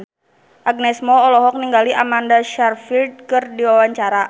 Agnes Mo olohok ningali Amanda Sayfried keur diwawancara